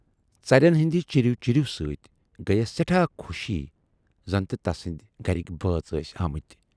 ژر ٮ۪ن ہٕندِ 'چیٖرِو چیٖرِو' سٍتۍ گٔیس سٮ۪ٹھاہ خوشی زن تہِ تسٕندۍ گرٕکۍ بٲژ ٲسۍ آمٕتۍ۔